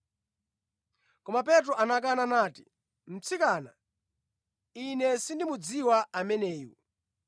Koma Petro anakana nati, “Mtsikana, ine sindimudziwa ameneyu.”